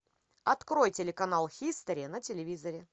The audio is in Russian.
открой телеканал хистори на телевизоре